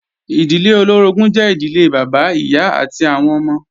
Ìdílé olóorogún jẹ́ ìdílé Bàbá, Ìyá àti àwọn ọmọ